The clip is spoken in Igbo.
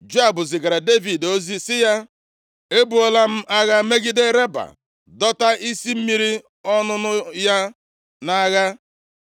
Joab zigara Devid ozi sị ya, “Ebuola m agha megide Raba dọta isi mmiri ọṅụṅụ ya nʼagha.